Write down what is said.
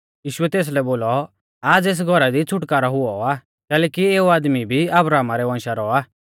यीशुऐ तेसलै बोलौ आज़ एस घौरा दी छ़ुटकारौ हुई आ कैलैकि एऊ आदमी भी अब्राहमा रै वंशा रौ आ